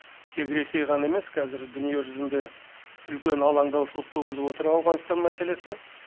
тек ресей ғана емес қазір дүние жүзінде үлкен алаңдаушылық туғызып отыр ауғанстан мәселесі